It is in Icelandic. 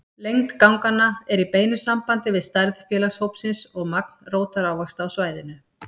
Lengd ganganna er í beinu sambandi við stærð félagshópsins og magn rótarávaxta á svæðinu.